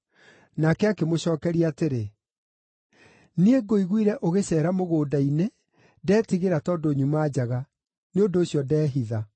Nake akĩmũcookeria atĩrĩ, “Niĩ ngũiguire ũgĩceera mũgũnda-inĩ ndeetigĩra tondũ nyuma njaga; nĩ ũndũ ũcio ndeehitha.”